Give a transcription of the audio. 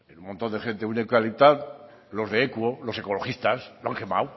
en un montón de gente un eucaliptal los de equo los ecologistas lo han quemado